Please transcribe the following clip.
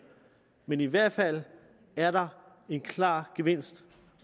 men i hvert fald er der en klar gevinst